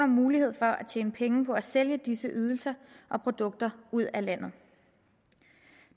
mulighed for at tjene penge på at sælge disse ydelser og produkter ud af landet